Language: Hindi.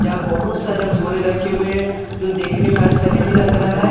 यहा बहुत सारे बोरे रखे हुए जो देखने में अच्छा नहीं लग रहा है।